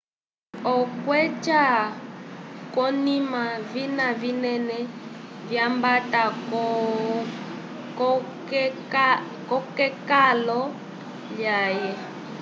okukuca kwonina vina vinene vyatamba ko kekalo lyaye